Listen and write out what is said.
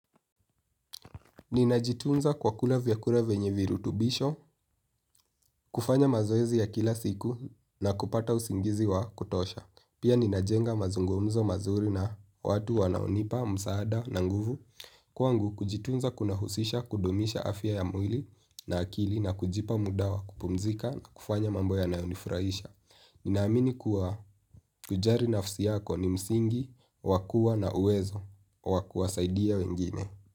Ninajitunza kwa kula vyakula venye virutubisho, kufanya mazoezi ya kila siku na kupata usingizi wa kutosha. Pia ninajenga mazungumzo mazuri na watu wanaonipa, msaada na nguvu. Kwangu kujitunza kunahusisha kudumisha afya ya mwili na akili kujipa muda wa kupumzika. Ninaamini kuwa kujari nafsi yako ni msingi, wakua na uwezo, wakua saidia wengine.